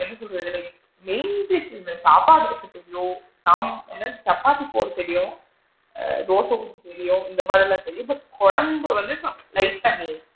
என்ன சொல்றது like main dish இந்த சாப்பாடு வைக்க தெரியும் சாப் என்னது இந்த சப்பாத்தி போட தெரியும் ஆ தோசை ஊத்த தெரியும் இந்த மாதிரிலா தெரியும் but கொழம்பு வந்து லைட் டா நீ